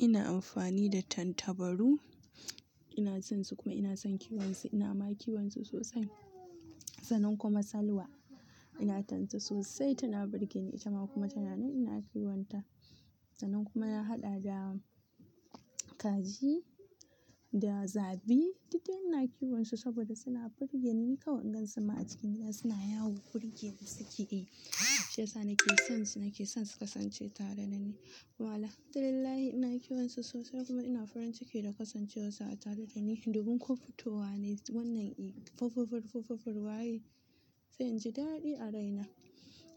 Ina amfani da tattabaru, ina sonsu kuma ina son kiwonsu. Ina ma kiwonsu sosai. Sanin kuma Salwa, ina tance sosai tana burge ni. Ita ma kuma tana nan ina kiwonta. Sanin kuma na haɗa da kaji da zabi, duk dai ina kiwonsu saboda suna burge ni. Kawunkan sama a cikin gida suna yawo, burge ni suke yi. Shi Yasa nake sonsu, nake son su kasance tare da ni. Wala Alhamdulillah ina kiwonsu sosai kuma ina farin ciki da kasancewarsu a tare da ni. Dubun kwamfutowa ne wannan fuffufur fuffufur waye. Sai in ji daɗi a raina.